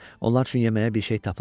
Onlar üçün yeməyə bir şey tapılar.